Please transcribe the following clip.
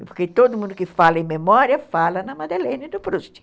Porque todo mundo que fala em memória fala na Madeleine do Proust.